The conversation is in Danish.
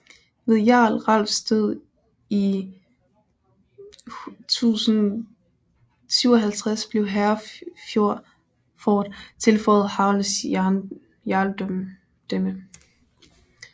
Ved jarl Ralfs død i 1057 blev Hereford tilføjet Harolds jarldømme